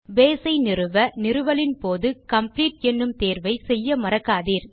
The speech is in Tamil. பேஸ் ஐ நிறுவ நிறுவலின் போது காம்ப்ளீட் எனும் தேர்வை செய்ய மறக்காதீர்